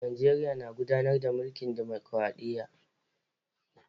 Najeriya na gudanar da mulkin dimokradiyya.